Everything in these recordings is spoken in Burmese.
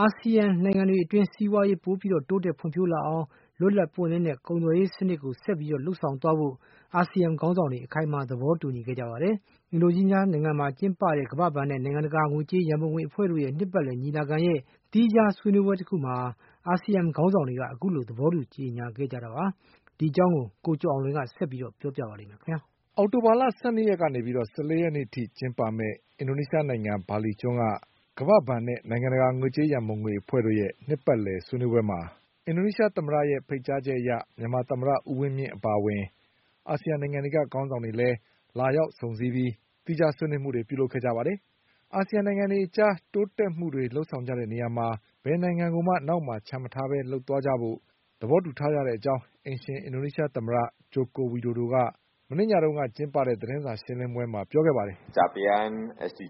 အာဆီယံနိုင်ငံတွေအတွင်း စီးပွားရေးပိုပြီးတိုးတက်ဖွံ့ဖြိုးလာအောင် လွတ်လပ်ပွင့်လင်းတဲ့ကုန်သွယ်ရေးစနစ်တွေကို ဆက်ပြီး လုပ်ဆောင်သွားဖို့ အာဆီယံခေါင်းဆောင်တွေက အခိုင်အမာသဘောတူညီခဲ့ကြပါတယ်။ အင်ဒိုနီးရှားနိုင်ငံမှာ ကျင်းပနေတဲ့ ကမ္ဘာ့ဘဏ်နဲ့ နိုင်ငံတကာငွေကြေးရန်ပုံငွေအဖွဲ့တို့ရဲ့ နှစ်ပတ်လည်ညီလာခံရဲ့ သီးခြားဆွေးနွေးပွဲတခုမှာ အာဆီယံခေါင်းဆောင်တွေက အခုလို သဘောတူညီခဲ့ကြတာပါ။ ဒီအကြောင်း ကိုကျော်အောင်လွင်က ဆက်ပြီးပြောပြပါ လိမ့်မယ်။ အောက်တိုဘာလ ၁၂ရက်ကနေ ၁၄ရက်နေ့ အထိကျင်းပမယ့် အင်ဒိုနီးရှားနိုင်ငံ ဘာလီကျွန်းက ကမ္ဘာ့ဘဏ်နဲ့နိုင်ငံတကာ ငွေကြေးရံပုံငွေအဖွဲ့တို့ရဲ့ နှစ်ပတ်လည်ဆွေးနွေးပွဲမှာ အင်ဒိုနီးရှားသမ္မတရဲ့ဖိတ်ကြားချက်အရ မြန်မာသမ္မတဦးဝင်းမြင့်အပါ အဝင် အာဆီယံနိုင်ငံတွေကခေါင်းဆောင်တွေလည်း လာရောက်စုံစည်းပြီး သီးခြားဆွေးနွေးမှုတွေလုပ်ခဲ့ကြပါတယ်။ အာဆီယံနိုင်ငံတွေ အကြားတိုးတက်မှုတွေ လုပ်ဆောင်ကြတဲ့နေရာမှာ ဘယ်နိုင်ငံကိုမှ နောက်မှ ာချန်မထားပဲလုပ်သွားကြဖို့ သဘောတူထားကြတဲ့အကြောင်း အိမ်ရှင် အင်ဒိုနီးရှားနိုင်ငံသမ္မတ Joko Widodo က မနေ့ညကကျင်းပတဲ့ သတင်းစာ ရှင်းလင်းပွဲမှာ ပြောခဲ့ပါတယ်။ "ကမ္ဘာစီး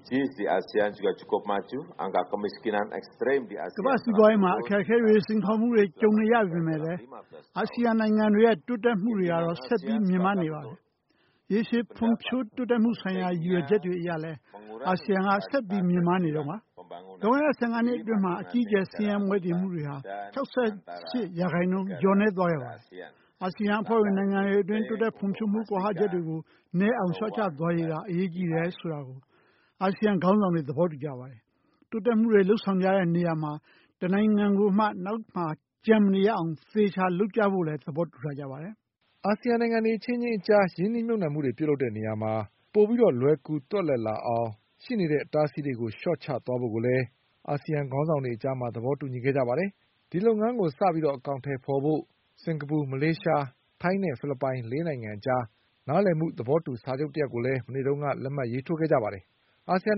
ပွါးရေးမှာ အခက်အခဲတွေစိန်ခေါ်မှုတွေကြုံနေရပေမဲ့လည်း အာဆီယံနိုင်ငံတွေရဲ့တိုးတက်မှုတွေကတော့ ဆက်ပြီး မြင့်မားနေပါတယ်။ ရေရှည်ခံတဲ့ဖွံ့ဖြိုးတိုးတက်မှုဆိုင်ရာရည်ရွယ်ချက်တွေအရလည်း အာဆီယံက ဆက်ပြီးမြင့်မားနေတုန်း ပါ။ လွန်ခဲ့တဲ့၁၅နှစ်အတွင်းမှာ အကြီးအကျယ် ဆင်းရဲမွဲတေမှုတွေဟာ ၆၈ရာခိုင်နှုန်းလျော့ကျခဲ့ပါတယ်။ အာဆီယံအဖွဲ့ဝင် နိုင်ငံတွေအတွင်း တိုးတက်ဖွံ့ဖြိုးမှုကွာဟချက်တွေကို နည်းအောင်လျှော့ချသွားရေးက အရေးကြီးတယ်ဆိုတာကို အာဆီယံ ခေါင်းဆောင်တွေ သဘောတူကြပါတယ်။ တိုးတက်မှုတွေလုပ်ဆောင်ကြတဲ့နေရာမှာ တနိုင်ငံကိုမှ နောက်မှာကျန်မနေ ရအောင်အသေအချာလုပ်ကြဖို့လည်းသဘောတူထားကြပါတယ်" အာဆီယံနိုင်ငံတွေ အချင်းချင်းအကြားရင်းနှီးမြုပ်နှံမှုတွေလုပ်တဲ့ နေရာမှာပိုပြီးလွယ်ကူသွက်လက်လာအောင် ရှိနေတဲ့ အတားအဆီးတွေကိုလျှော့ချသွားဖို့လည်း အာဆီယံခေါင်းဆောင်တွေ သဘောတူညီခဲ့ကြပါတယ်။ ဒီလုပ်ငန်းကိုစတင် အကောင်အထည်ဖေါ်ဖို့ စင်္ကာပူ၊ မလေးရှား၊ ထိုင်းနဲ့ဖိလစ်ပိုင်လေးနိုင်ငံအကြား နားလည်မှုသဘောတူစာချုပ်တရပ်ကို မနေ့က လက်မှတ်ထိုးခဲ့ကြပါတယ်။ အာစီယံ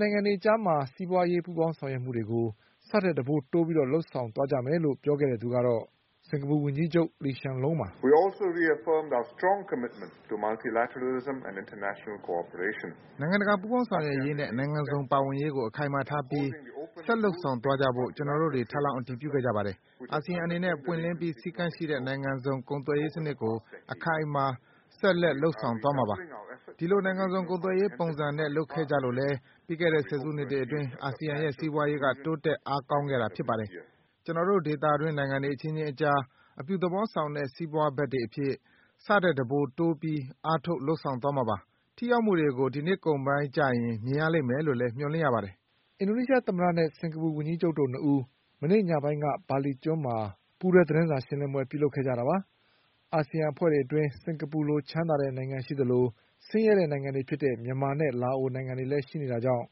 နိုင်ငံအတွေအကြား စီးပွါးရေးပူးပေါင်းဆောင်ရွက်မှုတွေကိုဆထက်တံပိုးတိုး ပြီးလုပ်ဆောင်သွားကြမယ်လို့ပြောခဲ့သူကတော့ စင်္ကာပူဝန်ကြီးချုပ် Lee Hsien Loong ပါ။ "နိုင်ငံတကာပူးပေါင်းဆောင်ရွက်ရေးနဲ့ နိုင်ငံစုံပါဝင်ရေးကို အခိုင်အမာထားပြီးဆက်လုပ်ဆောင်သွားကြဖို့ ကျနော်တို့တွေ ထပ်လောင်းအတည်ပြုခဲ့ကြပါတယ်။ အာဆီယံအနေနဲ့ ပွင့်လင်းပြီး စည်းကမ်းရှိတဲ့နိုင်ငံစုံကုန်သွယ်ရေးစနစ်ကို အခိုင်အမာ ဆက်လုပ်ဆောင်သွားမှာပါ။ ဒီလိုနိုင်ငံစုံကုန်သွယ်ရေးပုံစံနဲ့လုပ်ခဲ့ကြလို့လည်း ပြီးခဲ့တဲ့ ဆယ်စုနှစ်တွေအတွင်း အာဆီယံရဲ့ စီးပွါးရေးက တိုးတက်အားကောင်းခဲ့တာဖြစ်ပါတယ်။ ကျနော်တို့ဒေသတွင်းနိုင်ငံတွေအချင်းချင်းအကြား အပြုသဘော ဆောင်တဲ့စီးပွါးဘက်တွေအဖြစ် ဆထက်တံပိုးတိုးပြီးအားထုတ်လုပ်ဆောင်သွားမှာပါ။ ထိရောက်မှုတွေကို ဒီနှစ်ကုန်ပိုင်း ကျရင်မြင်ရလိမ့်မယ်လို့လည်းမျှော်လင့်ရပါတယ်" အင်ဒိုနီးရှားသမ္မတနဲ့ စင်္ကာပူဝန်ကြီးချုပ်တို့၂ဦး မနေ့ညပိုင်းက ဘာလီကျွန်းမှာပူးတွဲသတင်းစာရှင်းလင်းပွဲလုပ်ခဲ့ကြတာပါ။ အာဆီယံအဖွဲ့အတွင်း စင်္ကာပူလို ချမ်းသာတဲ့နိုင်ငံရှိသလို ဆင်းရဲတဲ့နိုင်ငံတွေဖြစ်တဲ့ မြန်မာနဲ့လာအိုနိုင်ငံတွေလည်းရှိနေတာ ကြောင့်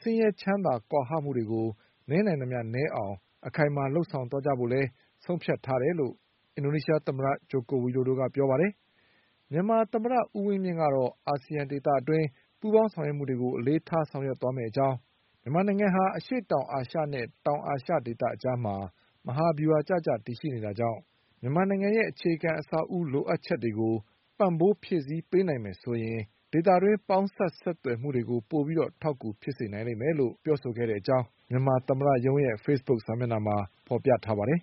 ဆင်းရဲချမ်းသာကွာဟမှုကို နည်းနိုင်သမျှနည်းအောင်အခိုင်အမာလုပ်ဆောင်သွားကြဖို့လည်းဆုံးဖြတ်ထားတယ် လို့ အင်ဒိုနီးရှားသမ္မတ Joko Widodo ကပြောပါတယ်။ မြန်မာသမ္မတဦးဝင်းမြင့်ကတော့ အာဆီယံဒေသတွင်းပူးပေါင်း ဆောင်ရွက်မှုတွေကိုအလေးထားဆောင်ရွက်သွားမယ့်အကြောင်း။ မြန်မာနိုင်ငံဟာ အရှေ့တောင်အာရှနဲ့ တောင်အာရှ ဒေသအကြားမှာ မဟာဗျူဟာကျကျတည်ရှိနေတာကြောင့် မြန်မာနိုင်ငံရဲ့ အခြေခံအဆောက်အဦးလိုအပ်ချက်တွေကို ပံ့ပိုး ဖြည့်စည်းပေးနိုင်မယ်ဆိုရင် ဒေသတွင်းပေါင်းစပ်ဆက်သွယ်မှုတွေကို ပိုပြီးအထောက်အကူဖြစ်စေနိုင်လိမ့်မယ်လို့ပြောဆိုခဲ့ တဲ့အကြောင်း မြန်မာသမ္မတရုံး Facebook စာမျက်နှာမှာဖေါ်ပြထားပါတယ်